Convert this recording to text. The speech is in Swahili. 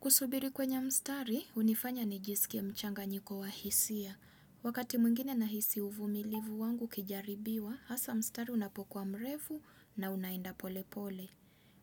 Kusubiri kwenye mstari, hunifanya nijisikie mchanganyiko wa hisia. Wakati mwingine na hisi uvumilivu wangu ukijaribiwa, hasa mstari unapokuwa mrefu na unaenda pole pole.